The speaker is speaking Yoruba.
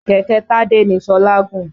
Kẹ̀kẹ́ Tádé ni Ṣọlá gùn.